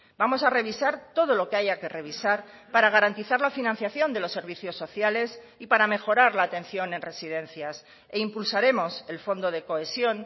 vamos a revisar todo lo que haya que revisar para garantizar la financiación de los servicios sociales y para mejorar la atención en residencias e impulsaremos el fondo de cohesión